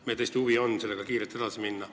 Meil on tõesti huvi sellega kiirelt edasi minna.